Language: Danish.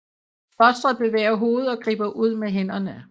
Fostret bevæger hovedet og griber ud med hænderne